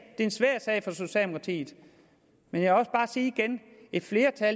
det her var et